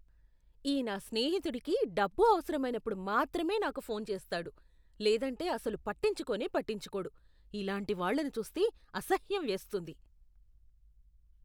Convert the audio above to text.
ఈ నా స్నేహితుడికి డబ్బు అవసరమైనప్పుడు మాత్రమే నాకు ఫోన్ చేస్తాడు, లేదంటే అసలు పట్టించుకోనే పట్టించుకోడు. ఇలాంటి వాళ్ళను చూస్తే అసహ్యం వేస్తుంది.